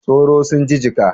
Tsoro sun cije ka?